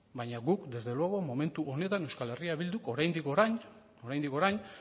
baina guk desde luego momentu honetan euskal herria bilduk oraindik orain